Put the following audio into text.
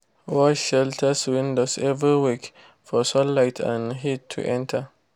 wash shelters windows every week for sunlight and heat to enter.